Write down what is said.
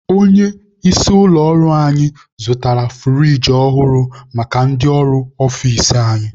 Onye isi ụlọ ọrụ anyị zụtara furigi ọhụrụ maka ndị ọrụ ọfici anyị.